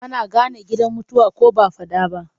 Ana gane gidan mutuwa ko ba a faɗa ba.